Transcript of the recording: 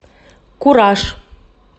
кураж